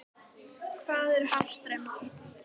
Hvað eru hafstraumar?